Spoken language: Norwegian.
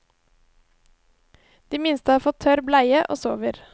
De minste har fått tørr bleie og sover.